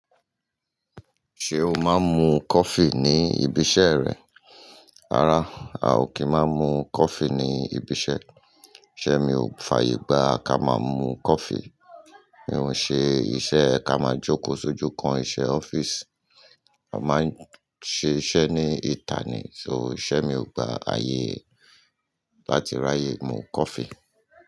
Ṣé o máa ń mu coffee ní ibi iṣẹ́ rẹ? Rárá, a ò kí máa mú coffee ní ibi iṣẹ́. Isé mi ò fàyègbà ká máa mú coffee. Mi ò ń ṣe iṣẹ́ ká máa jókòó sójú kan iṣẹ́ ọ́fíìsì. A máa ń ṣe iṣẹ́ ní ìta ni, so iṣẹ́ mi ò gba ààyè láti ráyè mu coffee.